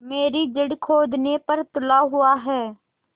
मेरी जड़ खोदने पर तुला हुआ है